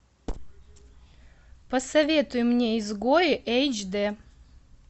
посоветуй мне изгои эйч дэ